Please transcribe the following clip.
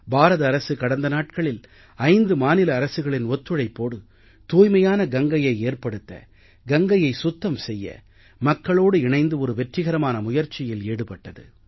பாரத அரசு கடந்த நாட்களில் 5 மாநில அரசுகளின் ஒத்துழைப்போடு தூய்மையான கங்கையை ஏற்படுத்த கங்கையை சுத்தம் செய்ய மக்களோடு இணைந்து ஒரு வெற்றிகரமான முயற்சியில் ஈடுபட்டது